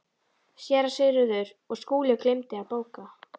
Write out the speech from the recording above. SÉRA SIGURÐUR: Og Skúli gleymdi að bóka.